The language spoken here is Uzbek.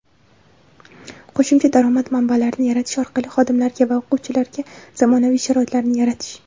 Qo‘shimcha daromad manbalarini yaratish orqali xodimlarga va o‘quvchilarga zamonaviy sharoitlarni yaratish;.